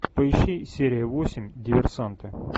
поищи серия восемь диверсанты